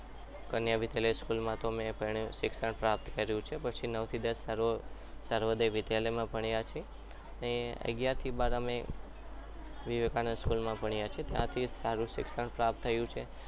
અમે કન્યા વિદ્યાલયમાં school માં અમે ભણ્યા સારું શિક્ષણ પણ અને એના પછી અમે નવ થી દસ અમે સર્વોદય વિદ્યાલયમાં ભણ્યા છીએ અને અગિયાર બાર વિવેકાનંદ school માં ભણ્યા છીએ ત્યાંથી પણ સારું શિક્ષણ પ્રાપ્ત થયું છે.